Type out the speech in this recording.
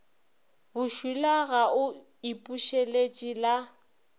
bošula ga o ipušeletše la